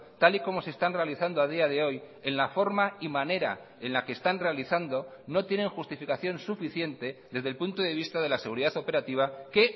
tal y como se están realizando a día de hoy en la forma y manera en la que están realizando no tienen justificación suficiente desde el punto de vista de la seguridad operativa que